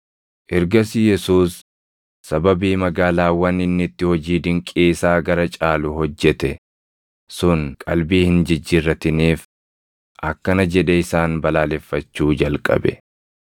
Ergasii Yesuus sababii magaalaawwan inni itti hojii dinqii isaa gara caalu hojjete sun qalbii hin jijjiirratiniif akkana jedhee isaan balaaleffachuu jalqabe.